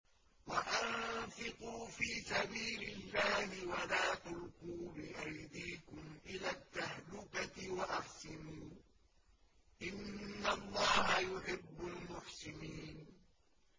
وَأَنفِقُوا فِي سَبِيلِ اللَّهِ وَلَا تُلْقُوا بِأَيْدِيكُمْ إِلَى التَّهْلُكَةِ ۛ وَأَحْسِنُوا ۛ إِنَّ اللَّهَ يُحِبُّ الْمُحْسِنِينَ